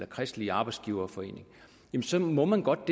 kristelige arbejdsgiverforening så må man godt